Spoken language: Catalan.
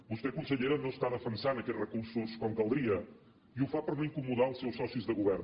vostè consellera no està defensant aquests recursos com caldria i ho fa per no incomodar els seus socis de govern